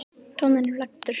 Tónninn er falskur.